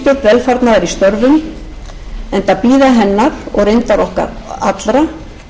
velfarnaðar í störfum enda bíða hennar og reyndar okkar allra sem hér störfum erfið